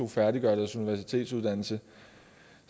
færdiggøre deres universitetsuddannelse